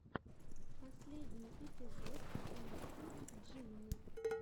последний эпизод лиспи джимми